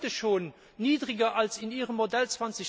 Die sind heute schon niedriger als in Ihrem Modell